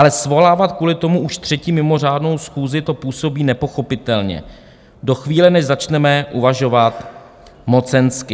Ale svolávat kvůli tomu už třetí mimořádnou schůzi, to působí nepochopitelně - do chvíle, než začneme uvažovat mocensky.